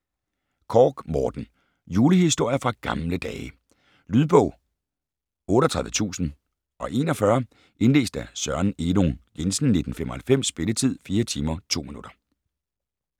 Korch, Morten: Julehistorier fra gamle dage Lydbog 38041 Indlæst af Søren Elung Jensen, 1995. Spilletid: 4 timer, 2 minutter.